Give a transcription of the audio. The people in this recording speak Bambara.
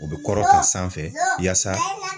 U bɛ kɔrɔta sanfɛ yasa.